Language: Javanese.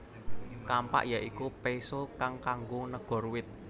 Kampak ya iku péso kang kanggo negor wit